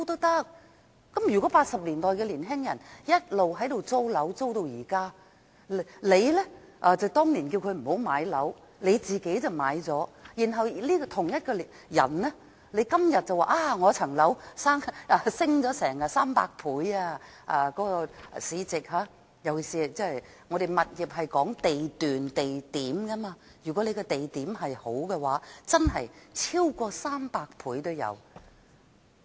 如果1980年代的年青人一直租住樓宇至今，而你當年叫他們不要買樓，自己卻買了，到了今天，你說自己的單位市值升了差不多300倍，尤其是物業是看地段或地區的，如果地區好的話，真的可以升值超過300倍。